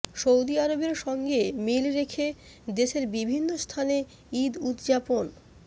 Saudi আরবের সঙ্গে মিল রেখে দেশের বিভিন্ন স্থানে ঈদ উদযাপন